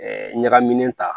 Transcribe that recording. ɲagaminen ta